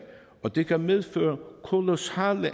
og det kan medføre kolossale